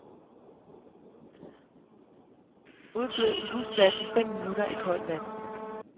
Udblød husblasen fem minutter i koldt vand.